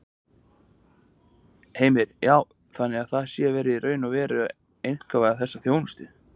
Heimir: Já, þannig að það sé verið í raun og veru að einkavæða þessa þjónustu?